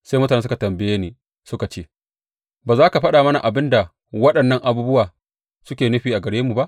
Sai mutane suka tambaye ni suka ce, Ba za ka faɗa mana abin da waɗannan abubuwa suke nufi a gare mu ba?